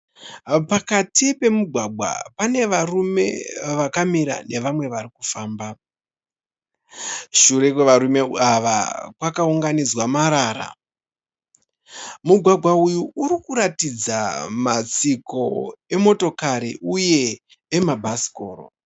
Pakati pemigwagwa. Pane varume vakamira nevamwe varikufamba. Shure kwevarume ava kwakaunganidzwa marara. Mugwagwa uyu urikuratidza matsiko emotokari uye emabhasikoro